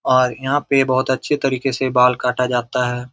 और यहाँ पे बहुत अच्छे तरीके से बाल काटा जाता है।